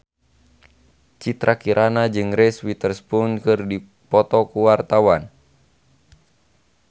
Citra Kirana jeung Reese Witherspoon keur dipoto ku wartawan